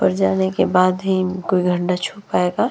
ऊपर जाने के बाद ही कोई घंडा छू पाएगा।